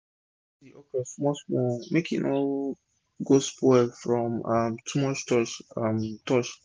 make u rinse d okro small small make e no go spoil from um too much touch um touch